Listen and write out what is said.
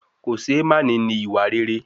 Kòṣeémání ni ìwà rere